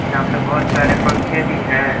यहा पे बहोत सारे पंखे भी है।